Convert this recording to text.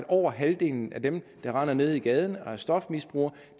over halvdelen af dem der render nede i gaden og er stofmisbrugere